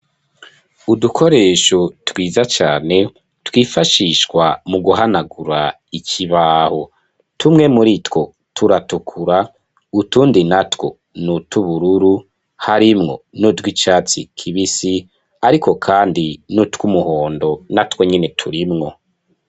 Udukoresho twiza cane twifashishwa mu guhanagura ikibaho, tumwe muri two turatukura, utundi na two n'utwubururu, harimwo n'utwicatsi kibisi, ariko kandi n'utwumuhondo na two nyene turimwo.